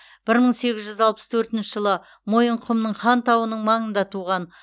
бір мың сегіз жүз алпыс төртінші жылы мойынқұмның хан тауының маңында туған